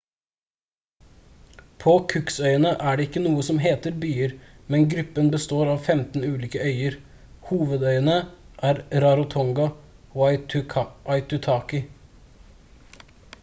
på cooksøyene er det ikke noen byer men gruppen består av 15 ulike øyer hovedøyene er rarotonga og aitutaki